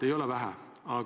Ei ole vähe!